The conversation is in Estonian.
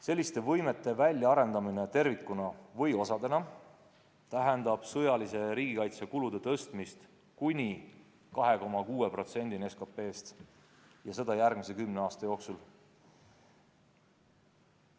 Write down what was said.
Selliste võimete väljaarendamine tervikuna või osadena tähendab sõjalise riigikaitse kulude tõstmist kuni 2,6%-ni SKT-st, ja seda järgmise kümne aasta jooksul.